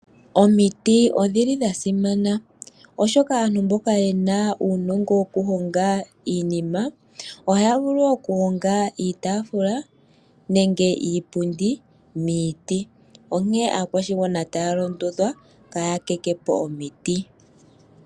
Omiti odhi li dha simana, oshoka aantu mboka ye na uunongo wokuhonga iinima ohaya vulu okuhonga iitaafula nenge iipundi miiti. Onkene aakwashigwana otaya londodhwa kaya tete po omiti.